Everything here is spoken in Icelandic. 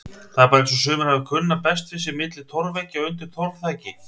Það er bara eins og sumir hafi kunnað best við sig milli torfveggja undir torfþaki.